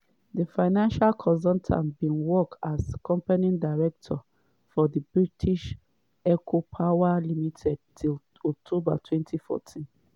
di financial consultant bin work as company director for di british eco power limited till october 2014.